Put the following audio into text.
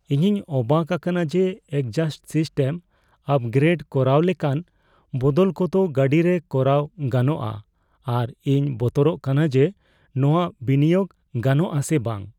ᱤᱧᱤᱧ ᱚᱵᱟᱠ ᱟᱠᱟᱱᱟ ᱡᱮ ᱮᱠᱡᱟᱥᱴ ᱥᱤᱥᱴᱮᱢ ᱟᱯᱜᱨᱮᱰ ᱠᱚᱨᱟᱣ ᱞᱮᱠᱟᱱ ᱵᱚᱫᱚᱞ ᱠᱚᱫᱚ ᱜᱟᱹᱰᱤᱨᱮ ᱠᱚᱨᱟᱣ ᱜᱟᱱᱚᱜᱼᱟ ᱟᱨ ᱤᱧ ᱵᱚᱛᱚᱨᱚᱜ ᱠᱟᱱᱟ ᱡᱮ ᱱᱚᱶᱟ ᱵᱤᱱᱤᱭᱳᱜ ᱜᱟᱱᱚᱜ ᱟᱥᱮ ᱵᱟᱝ ᱾